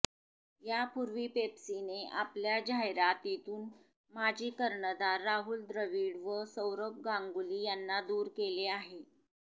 यापूर्वी पेप्सीने आपल्या जाहिरातीतून माजी कर्णधार राहुल द्रविड व सौरभ गांगुली यांना दूर केले आहे